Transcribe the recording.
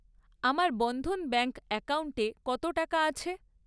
আমার বন্ধন ব্যাঙ্ক অ্যাকাউন্টে কত টাকা আছে?